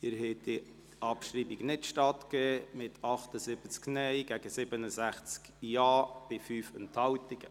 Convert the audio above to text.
Sie haben dieser Abschreibung nicht stattgegeben, mit 78 Nein- gegen 67 Ja-Stimmen bei 5 Enthaltungen.